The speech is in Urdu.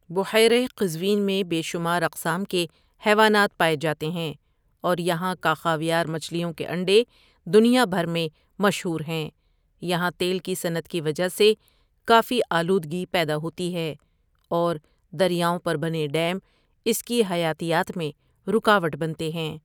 بحیرہ قزوین میں بے شمار اقسام کے حیوانات پائے جاتے ہیں اور یہاں کا خاویار مچھلیوں کے انڈے دنیا بھر میں مشہور ہیں یہاں تیل کی صنعت کی وجہ سے کافی آلودگی پیدا ہوتی ہے اور دریاؤں پر بنے ڈیم اس کی حیاتیات میں رکاوٹ بنتے ہیں۔